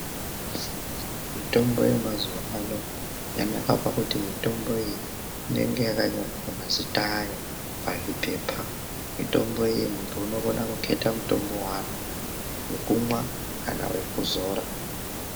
Mitombo yamazuva ano yakanaka pakuti mitombo iyi inenge yakanyorwa mazita ayo pazvipepa. Mitombo iyi muntu unokona kuketa mutombo waanoda, wekumwa kana wekuzora.